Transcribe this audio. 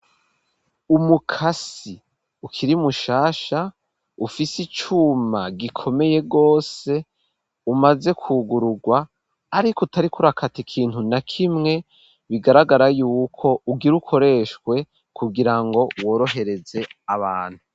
Umukasi ukiri mushasha ufise icuma gikomeye gose umaze kwugurugwa ariko utarik’urakata ikintu na kimwe bigaragara yuko ugire ukoreshwe kugira ngo worohereze abantu.